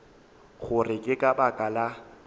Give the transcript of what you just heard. gore ke ka baka la